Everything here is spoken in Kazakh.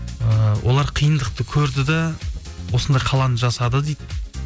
ыыы олар қиындықты көрді де осындай қаланы жасады дейді